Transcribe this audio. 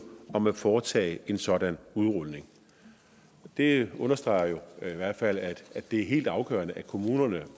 om at foretage en sådan udrulning det understreger jo i hvert fald at det er helt afgørende at kommunerne